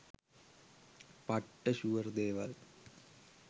'පට්ට ෂුවර්' දේවල්